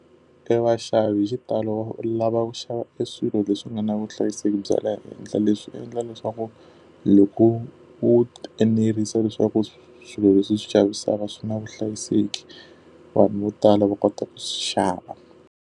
E vaxavi hi xitalo lava xava e swilo leswi nga na vuhlayiseki bya le henhla leswi endla leswaku loko u enerisa leswaku swilo leswi u swi xavisaka swi na vuhlayiseki, vanhu vo tala va kota ku swi xava.